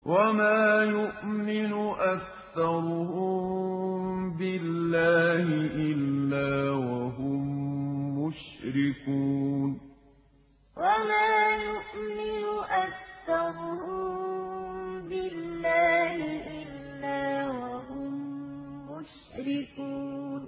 وَمَا يُؤْمِنُ أَكْثَرُهُم بِاللَّهِ إِلَّا وَهُم مُّشْرِكُونَ وَمَا يُؤْمِنُ أَكْثَرُهُم بِاللَّهِ إِلَّا وَهُم مُّشْرِكُونَ